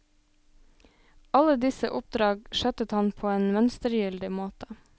Alle disse oppdrag skjøttet han på en mønstergyldig måte.